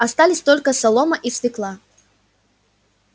остались только солома и свёкла